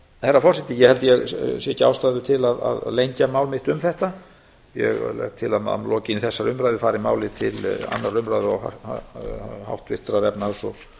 herra forseti ég held ég sjái ekki ástæðu til að lengja mál mitt um þetta ég legg til að að lokinni þessari umræðu farið málið til annarrar umræðu og háttvirtrar efnahags og